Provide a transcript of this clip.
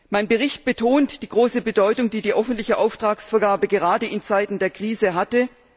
Mein Bericht betont die große Bedeutung, die die öffentliche Auftragsvergabe gerade in Zeiten der Krise hatte.